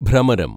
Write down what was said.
ഭ്രമരം